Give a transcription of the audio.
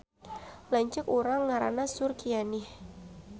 Lanceuk urang ngaranna Surkianih